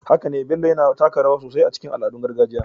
Haka ne, Bello yana taka rawa sosai a cikin al'adun gargajiya